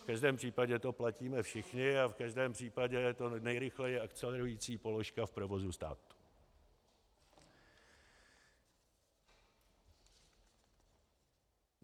V každém případě to platíme všichni a v každém případě je to nejrychleji akcelerující položka v provozu státu.